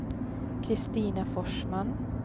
Kristina Forsman